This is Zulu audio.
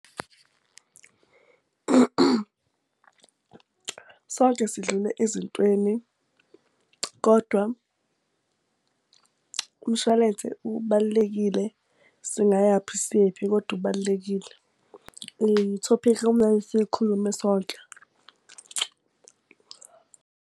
Sonke sidlule ezintweni kodwa umshwalense ubalulekile, singayaphi siyephi kodwa ubalulekile. I-topic ekumele siyikhulume sonke.